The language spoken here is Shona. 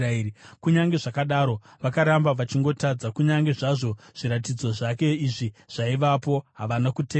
Kunyange zvakadaro, vakaramba vachingotadza; kunyange zvazvo zviratidzo zvake izvi zvaivapo, havana kutenda.